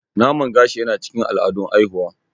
Naman gashi yana cikin al'adun haihuwa.